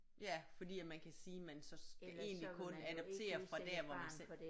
Ja fordi at man kan sige man så skal egentlig kun adoptere fra der hvor man selv